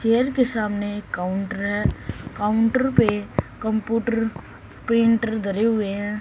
Chair के सामने counter है काउंटर पे कंपुटर प्रिंटर धरे हुए हैं।